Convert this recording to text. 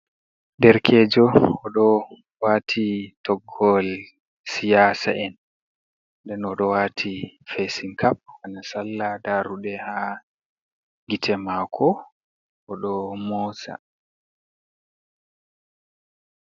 Ɗerkejo oɗo wati toggol siyasa'en. Ɗen oɗo wati fasin kap hana sallah, daruɗe ha gite mako oɗo moosa.